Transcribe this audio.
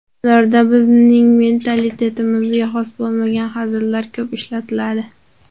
Ularda bizning mentalitetimizga xos bo‘lmagan hazillar ko‘p ishlatiladi.